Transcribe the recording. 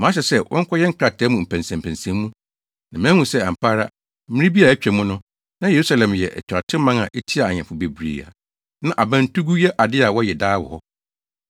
Mahyɛ sɛ wɔnkɔyɛ nkrataa mu mpɛnsɛnpɛnsɛnmu, na mahu sɛ, ampa ara, mmere bi a atwa mu no, na Yerusalem yɛ atuatewman a etiaa ahemfo bebree a na abantugu yɛ ade a wɔyɛ daa wɔ hɔ.